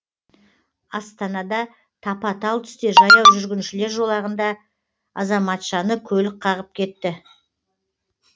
астанада тапа талтүсте жаяу жүргіншілер жолағында азаматшаны көлік қағып кетті